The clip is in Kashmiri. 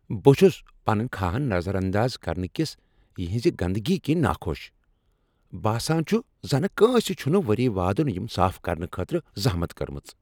بہٕ چُھس پنٕنۍ كھاہن نظر انداز كرنہٕ كِس یہنزِ گندگی كِنہِ ناخۄش۔ باسان چُھ زنہٕ کٲنٛسہ چھٖنہٕ ؤری وادن یِم صاف كرنہٕ خٲطرٕ زحمت کٔرمٕژ ۔